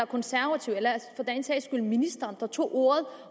konservative eller for den sags skyld ministeren der tog ordet